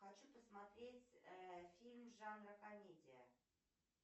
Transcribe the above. хочу посмотреть фильм жанра комедия